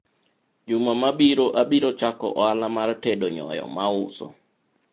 juma mabiro abiro chako ohala mar tedo nyoyo mauso